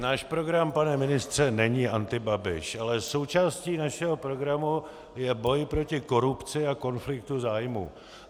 Náš program, pane ministře, není antibabiš, ale součástí našeho programu je boj proti korupci a konfliktu zájmů.